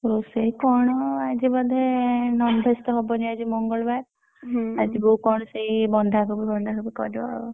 ରୋଷେଇ କଣ ଆଜି ବୋଧେ non-veg ତ ହବନି ଆଜି ମଙ୍ଗଳବାର, ଆଜି ବୋଉ କଣ ସେଇ ବନ୍ଧାକୋବି ଫନ୍ଧାକୋବି କରିବ ଆଉ।